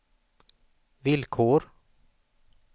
villkor